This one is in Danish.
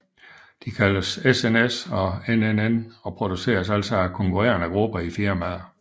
De kaldes SNS og NNN og produceres altså af konkurrende grupper af firmaer